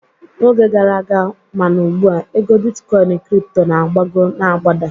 N'oge gara aga ma na ugbua, ego bitkọin kripto na-agbago na-agbada